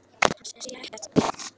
Hann sér ekkert.